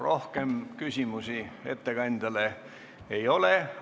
Rohkem küsimusi ettekandjale ei ole.